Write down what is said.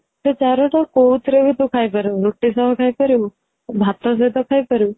ସେ ଚାରୁ ଟା କୋଉଥିରେ ବି ତୁ ଖାଇ ପାରିବୁ ରୁଟି ସହ ଖାଇପାରିବୁ ଭାତ ସହିତ ଖାଇ ପାରିବୁ